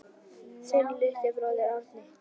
Þinn litli bróðir, Árni.